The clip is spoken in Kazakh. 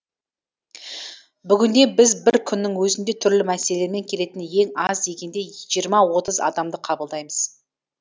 бүгінде біз бір күннің өзінде түрлі мәселелермен келетін ең аз дегенде жиырма отыз адамды қабылдаймыз